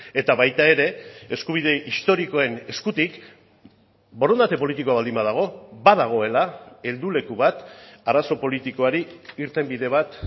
eta baita ere eskubide historikoen eskutik borondate politikoa baldin badago badagoela helduleku bat arazo politikoari irtenbide bat